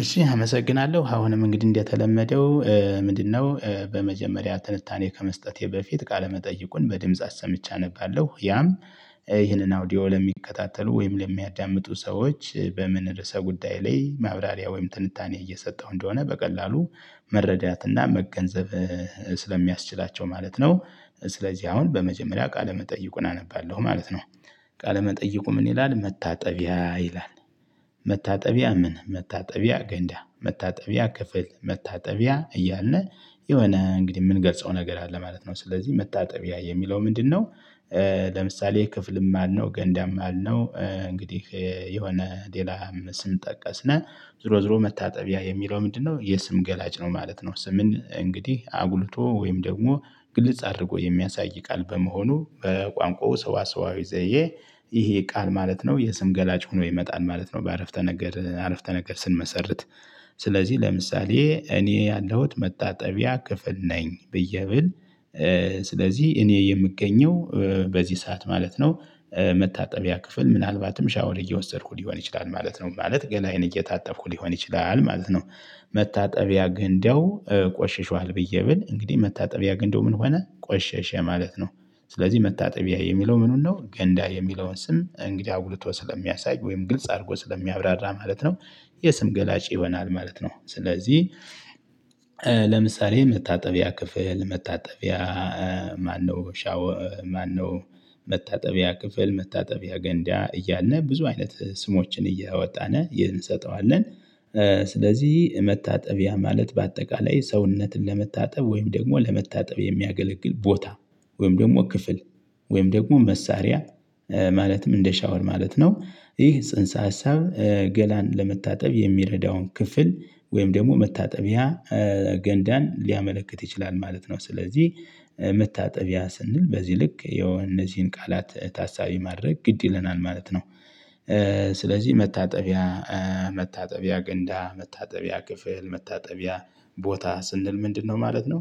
እሺ አመሰግናለሁ አሁንም እንግዲህ እንደተለመደው። ምንድነው በመጀመሪያ ትንታኔ ከመስጠቴ በፊት ቃለመጠይቁን በድምጽ አስምቼ አነባለሁ ያም። ይህንን አውዲዮ ለሚከታተሉ ወይም ለሚያዳምጡ ሰዎች በምን ርዕሰ ጉዳይ ላይ ማብራሪያ ወይም ትንታኔ እየሰጠሁ እንደሆነ በቀላሉ መረዳትና መገንዘብ ስለሚያስችላቸው ማለት ነው። ስለዚህ አሁን በመጀመሪያ ቃለ መጠይቁን አነባለሁ ማለት ነው። ቃለመጠይቁ ምን ይላል መታጠቢያ ይላል። መታጠቢያ ምን መታጠቢያ ገንዳ መታጠቢያ ክፍል መታጠቢያ እያለ የሆነ እንግዲህ የምንገልጸው ነገር አለ ማለት ነው ስለዚህ መታጠቢያ የሚለው ምንድነው? ለምሳሌ ክፍልም አልነው ገንዳም አልነው እንግዲህ የሆነ ሌላም ስንጠቀስ ነው። ዝሮ ዝሮ መታጠቢያ የሚለው ምንድነው? የስም ገላጭ ነው ማለት ነው። ስምን እንግዲህ አጉልቶ ወይም ደግሞ ግልጽ አድርጎ የሚያሳይ ቃል በመሆኑ በቋንቋው ሰዋሰዋዊ ዘየ። ይሄ ቃል ማለት ነው የስም ገላጭ ሆኖ ይመጣል ማለት ነው። በአረፍተ ነገር አረፍተ ነገር ስንመሰርት። ስለዚህ ለምሳሌ እኔ ያለሁት መታጠቢያ ክፍል ነኝ ብዬ ብል። ስለዚህ እኔ የምገኘው በዚህ ሰዓት ማለት ነው። መታጠቢያ ክፍል ምናልባትም ሻወር እየወሰድኩ ሊሆን ይችላል ማለት ነው ማለት ገላዬን እየታጠብኩ ሊሆን ይችላል ማለት ነው። መታጠቢያ ግንደው ቆሸሸዋል ብዬ ብል እንግዲህ መታጠቢያ ግንደው ምን ሆነ ቆሸሸ ማለት ነው። ስለዚህ መታጠቢያ የሚለው ምኑን ነው ገንዳ የሚለውን ስም እንግዲህ አጉልቶ ስለሚያሳይ ወይም ግልጽ አድርጎ ስለሚያብራራ ማለት ነው። የስም ገላጭ ይሆናል ማለት ነው። ስለዚህ ለምሳሌ መታጠቢያ ክፍል መታጠቢያ ማነው ሻው ማነው? መታጠቢያ ክፍል መታጠቢያ ገንዳ እያልን ብዙ አይነት ስሞችን እያወጣን ይህን እንሰጠዋለን። ስለዚህ መታጠቢያ ማለት በአጠቃላይ ሰውነትን ለመታጠብ ወይም ደግሞ ለመታጠብ የሚያገለግል ቦታ ወይም ደግሞ ክፍል ወይም ደግሞ መሳሪያ። ማለትም እንደ ሻወር ማለት ነው ይህ ጽንሰ ሀሳብ ገላን ለመታጠብ የሚረዳውን ክፍል ወይም ደግሞ መታጠቢያ ገንዳን ሊያመለክት ይችላል ማለት ነው። ስለዚህ መታጠቢያ ስንል በዚህ ልክ የነዚህን ቃላት ታሳቢ ማድረግ ግድ ይለናል ማለት ነው። ስለዚህ መታጠቢያ መታጠቢያ ገንዳ መታጠቢያ ክፍል መታጠቢያ ቦታ ስንል ምንድነው ማለት ነው።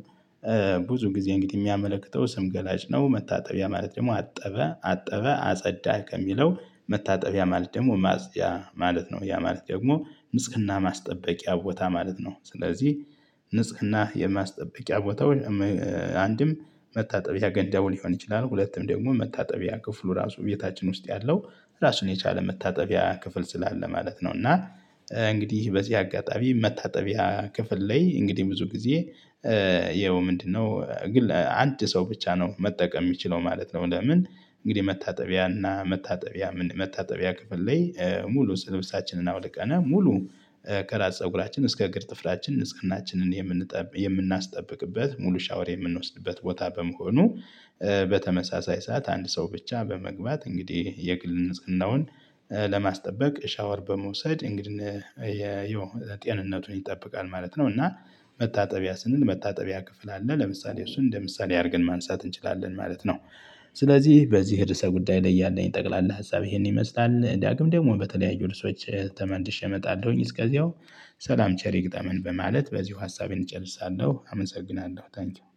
ብዙ ጊዜ እንግዲህ የሚያመለክተው ስም ገላጭ ነው መታጠቢያ ማለት ደግሞ አጠበ አጠበ አጸዳ ከሚለው መታጠቢያ ማለት ደግሞ ማጽጅያ ማለት ነው ያ ማለት ደግሞ ንጽህና ማስጠበቂያ ቦታ ማለት ነው። ስለዚህ ንጽህና የማስጠበቂያ ቦታው። አንድም መታጠቢያ ገንዳው ሊሆን ይችላል ሁለትም ደግሞ መታጠቢያ ክፍሉ ራሱ ቤታችን ውስጥ ያለው ራሱን የቻለ መታጠቢያ ክፍል ስላለ ማለት ነው። እና እንግዲህ በዚህ አጋጣሚ መታጠቢያ ክፍል ላይ እንግዲህ ብዙ ጊዜ ይኸው ምንድነው ግን አንድ ሰው ብቻ ነው መጠቀም የሚችለው ማለት ነው። ለምን? እንግዲህ መታጠቢያና መታጠቢያ መታጠቢያ ክፍል ላይ ሙሉ ልብሳችንን አውልቀን ሙሉ ከራስ ፀጉራችን እስከ እግር ጥፍራችን እስከ እናችን የምንጠብቅ የምናስጠብቅበት ሙሉ ሻወር የምንወስድበት ቦታ በመሆኑ። በተመሳሳይ ሰዓት አንድ ሰው ብቻ በመግባት እንግዲህ የግል ንጽህናውን ለማስጠበቅ ሻወር በመውሰድ እንግዲህ የጤንነቱን ይጠብቃል ማለት ነው። እና መታጠቢያ ስንል መታጠቢያ ክፍል አለ ለምሳሌ እሱን እንደ ምሳሌ አድርገን ማንሳት እንችላለን ማለት ነው። ስለዚህ በዚህ ርዕሰ ጉዳይ ላይ ያለኝ ጠቅላላ ሀሳብ ይሄን ይመስላል ዳግም ደግሞ በተለያዩ ርዕሶች ተመልሼ እመጣለሁኝ እስከዚያው። ሰላም ቸሪ ይግጠመን በማለት በዚሁ ሀሳቤን እጨርሳለሁ አመሰግናለሁ። ታንኪው